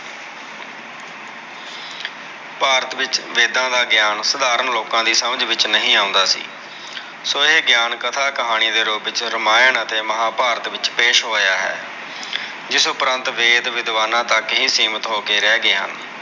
ਭਾਰਤ ਵਿੱਚ ਵੇਦਾਂ ਦਾ ਗਿਆਨ ਸਧਾਰਨ ਲੋਕਾਂ ਦੀ ਸਮਜ ਵਿੱਚ ਨਹੀਂ ਆਉਂਦਾ ਸੀ। ਸੋ ਇਹ ਗਿਆਨ ਕਥਾ-ਕਹਾਣੀ ਦੇ ਰੂਪ ਵਿੱਚ ਰਮਾਇਣ ਅਤੇ ਮਹਾਭਾਰਤ ਵਿੱਚ ਪੇਸ਼ ਹੋਇਆ ਹੈ। ਜਿਸ ਉਪ੍ਰੰਤ ਵੇਦ-ਵਿਦਵਾਨਾਂ ਤੱਕ ਹੀ ਸੀਮਤ ਹੋ ਕੇ ਰਹਿ ਗਏ ਹਨ।